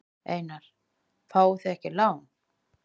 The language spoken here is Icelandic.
Einar: Fáið þið ekki lán?